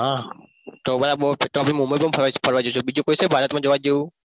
હા તો મુંબઈ ફરવા જઈસુ બીજું કઈ છે ભારત માં જોવા જેવું?